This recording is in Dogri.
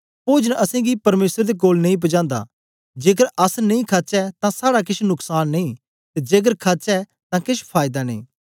पोजन असेंगी परमेसर दे कोल नेई पजांदा जेकर अस नेई खाचै तां साड़ा केछ नुकसान नेई ते जेकर खाचै तां केछ फायदा नेई